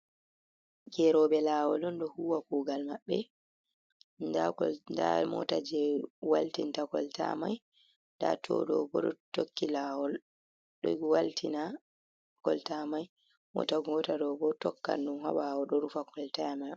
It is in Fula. Geroɓe lawol on ɗo huwa kugal maɓɓe, nda mota je waltinta kolta mai, nda to ɗo bo ɗo tokki lawol ɗo waltina kolta mai, mota gota ɗo bo tokkan ɗum ha ɓawo ɗo rufa kolta man.